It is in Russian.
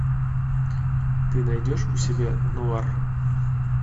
ты найдешь у себя нуар